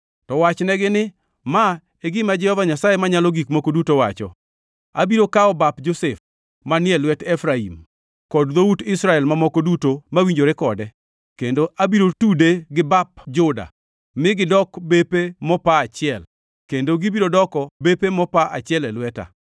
To wachnegi ni, ‘Ma e gima Jehova Nyasaye Manyalo Gik Moko Duto wacho: Abiro kawo bap Josef, manie lwet Efraim, kod dhout Israel mamoko duto mawinjore kode, kendo abiro tude gi bap Juda, mi gidok bepe mopa achiel, kendo gibiro doko bepe mopa achiel e lweta.’